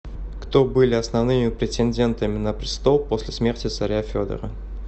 кто были основными претендентами на престол после смерти царя федора